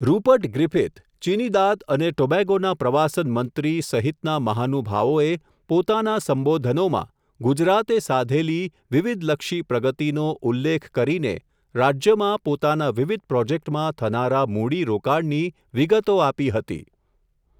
Rupert Griffith Trinidad, અને ટોબેગોના પ્રવાસન મંત્રી, સહિતના મહાનુભાવોએ, પોતાના સંબોધનોમાં, ગુજરાતે સાધેલી, વિવિધલક્ષી પ્રગતિનો, ઉલ્લેખ કરીને, રાજ્યમાં પોતાના વિવિધ પ્રોજેક્ટમાં, થનારા મૂડી રોકાણની, વિગતો આપી હતી.